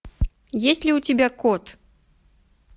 есть ли у тебя кот